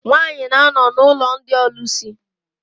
Nwaanyị na-anọ n'ụlọ ndị ọlụsị.